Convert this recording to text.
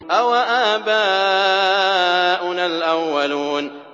أَوَآبَاؤُنَا الْأَوَّلُونَ